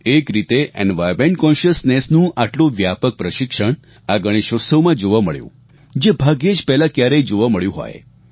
એક રીતે એન્વાયર્નમેન્ટ કોન્શિયસનેસ નું આટલું વ્યાપક પ્રશિક્ષણ આ ગણેશોત્સવમાં જોવા મળ્યું જે ભાગ્યે જ પહેલા ક્યારેય જોવા મળ્યું હોય